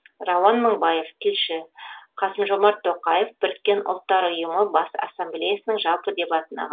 рауан мыңбаев тілші қасым жомарт тоқаев біріккен ұлттар ұйымы бас ассамблеясының жалпы дебатына